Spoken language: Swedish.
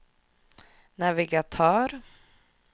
navigatör